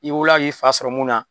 I wolola k'i fa sɔrɔ mun na